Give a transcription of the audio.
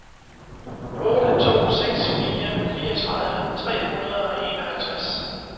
otte to seks fire fireogtredive tre hundrede og enoghalvtreds